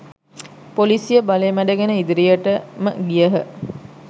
පොලිසිය බලය මැඩගෙන ඉදිරියටම ගියහ.